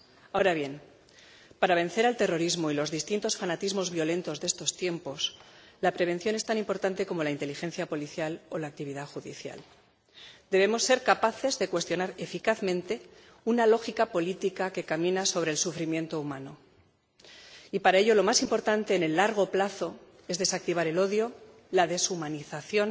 Ahora bien, para vencer al terrorismo y los distintos fanatismos violentos de estos tiempos, la prevención es tan importante como la inteligencia policial o la actividad judicial. Debemos ser capaces de cuestionar eficazmente una lógica política que camina sobre el sufrimiento humano y para ello lo más importante en el largo plazo es desactivar el odio, la deshumanización